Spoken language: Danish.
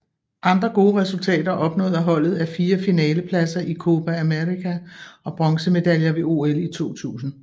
Andre gode resultater opnået af holdet er fire finalepladser i Copa América og bronzemedaljer ved OL i 2000